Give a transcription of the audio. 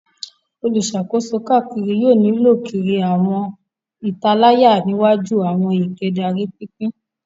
Oluṣakoso kaakiri yoo lilö kiri ni awọn italaya iwaju ni awọn eekaderi pinpin